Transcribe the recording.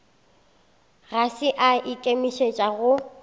ga se a ikemišetša go